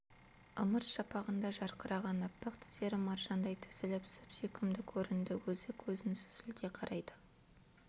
ымырт шапағында жарқыраған аппақ тістері маржандай тізіліп сүп-сүйкімді көрінді өзі көзін сүзілте қарайды